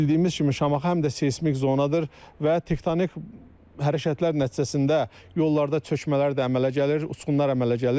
Bildiyimiz kimi Şamaxı həm də seysmik zonadır və tektonik hərəkətlər nəticəsində yollarda çökmələr də əmələ gəlir, uçqunlar əmələ gəlir.